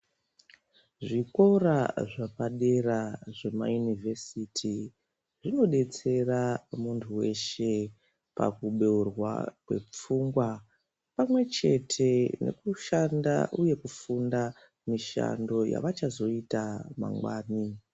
Zvikora zvepadera zvemaunivhesiti zvinodetsera muntu weshe kubeurwa kwepfungwa pamwe chete yekushanda uye kufunda me ishando yavachazoita mangwani.